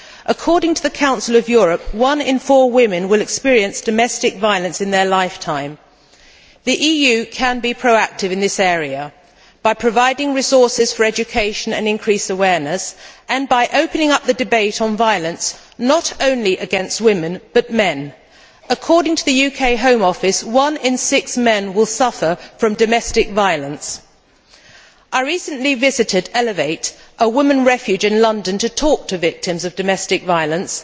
According to the Council of Europe, one in four women will experience domestic violence in their lifetime. The EU can be proactive in this area by providing resources for education and increased awareness and by opening up the debate on violence against not only women but also against men according to the UK Home Office, one in six men will suffer domestic violence. I recently visited Elevate, a women's refuge in London, to talk to victims of domestic violence.